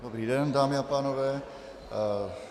Dobrý den, dámy a pánové.